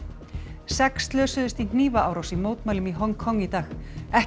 sex slösuðust í hnífaárás í mótmælum í Hong Kong í dag ekkert